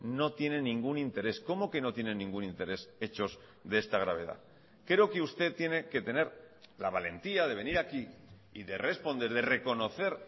no tiene ningún interés cómo que no tiene ningún interés hechos de esta gravedad creo que usted tiene que tener la valentía de venir aquí y de responder de reconocer